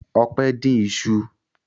Ọpẹ́ dín iṣu?